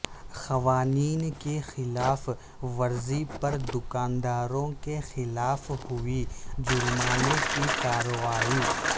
قوانین کی خلاف ورزی پر دکان داروں کے خلاف ہوئی جرمانہ کی کارروائی